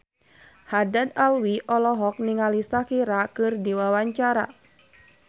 Haddad Alwi olohok ningali Shakira keur diwawancara